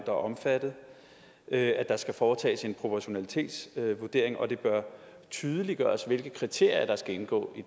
er omfattet at der skal foretages en proportionalitetsvurdering og at det bør tydeliggøres hvilke kriterier der skal indgå